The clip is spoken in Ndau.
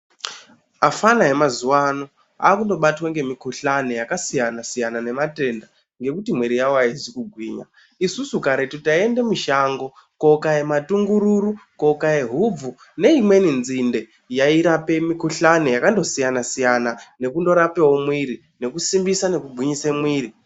Afana emazuwano akundobatwa ngemikhuhlani yakasiyana -siyana nematenda ngekuti mwiri yavo haizi kugwinya. Isusu karetu taiende mushango kakoya matungururu, kokaye hubvu neimweni nzinde yairape mikhuhlani yakandosiyana-siyana nekundorapewo mwiri, nekusimbisa nekugwinyisa mwiri.